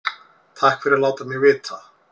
Takk fyrir að láta mig vita